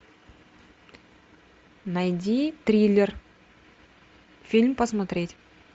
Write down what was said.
найди триллер фильм посмотреть